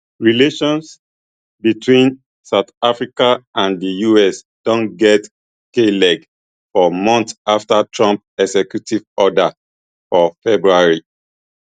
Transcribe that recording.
relations between south africa and di us don get kleg for months afta trump executive order for february